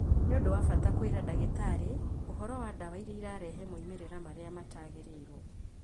Nĩ ũndũ wa bata kwĩra ndagĩtarĩ ũhoro wa ndawa iria irarehe moimĩrĩra marĩa matarigĩrĩiruo.